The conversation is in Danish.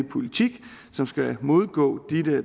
politik som skal modgå